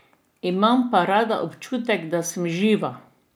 Imam pa rada občutek, da sem živa!